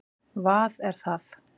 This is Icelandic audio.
vað er það?